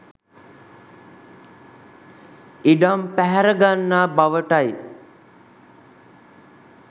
ඉඩම් පැහැර ගන්නා බවටයි